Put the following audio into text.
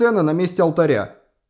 на месте алтаря